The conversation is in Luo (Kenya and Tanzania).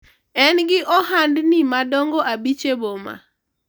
en gi ohandni madongo abich e boma